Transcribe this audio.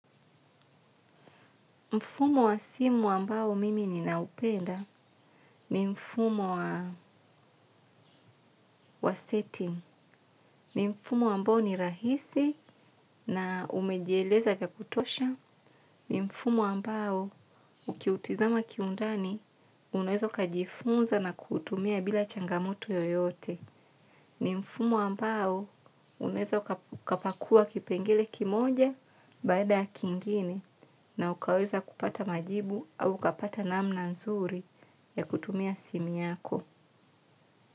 Mfumo wa simu ambao mimi ninaupenda, ni mfumo wa setting. Ni mfumo ambao ni rahisi na umejieleza vya kutosha. Ni mfumo ambao ukiutizama kiundani unaeza ukajifunza na kuutumia bila changamoto yoyote. Ni mfumo ambao unaeza ukapakua kipengele kimoja baada ya kingine. Na ukaweza kupata majibu au ukapata namna nzuri ya kutumia simu yako.